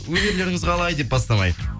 өнерлеріңіз қалай деп бастамай